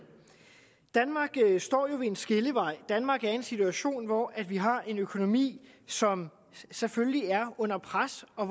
danmark står jo ved en skillevej danmark er i en situation hvor vi har en økonomi som selvfølgelig er under pres og